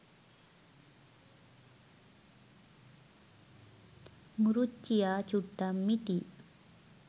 මුරුච්චියා චුට්ටක් මිටියි